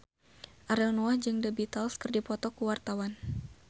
Ariel Noah jeung The Beatles keur dipoto ku wartawan